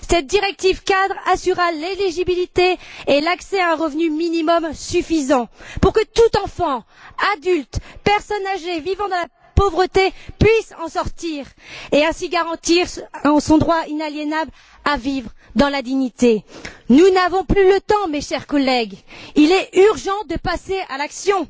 Cette directive cadre assurera l'éligibilité et l'accès à un revenu minimum suffisant pour que tout enfant, tout adulte et toute personne âgée vivant dans la pauvreté puissent en sortir et ainsi garantir son droit inaliénable à vivre dans la dignité. Nous n'avons plus le temps, mes chers collègues, il est urgent de passer à l'action.